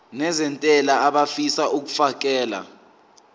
nezentela abafisa uukfakela